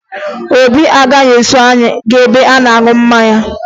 Obi agaghị eso anyị gaa ebe a na-aṅụ mmanya